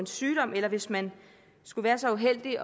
sygdom eller hvis man skulle være så uheldig at